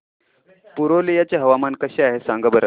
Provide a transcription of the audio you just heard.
पुरुलिया चे हवामान कसे आहे सांगा बरं